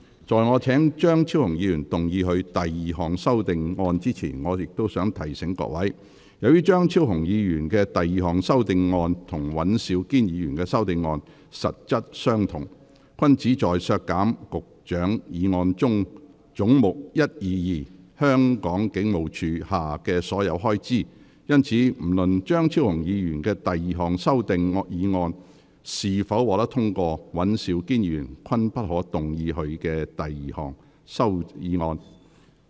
在我請張超雄議員動議他的第二項修訂議案前，我想提醒各位，由於張超雄議員的第二項修訂議案與尹兆堅議員的修訂議案實質相同，均旨在削減局長議案中總目122下的所有開支，因此不論張超雄議員的第二項修訂議案是否獲得通過，尹兆堅議員均不可動議他的修訂議案。